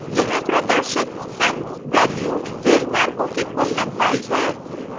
यहां प्रदर्शित sum value रेलमार्गों की कुल लंबाई है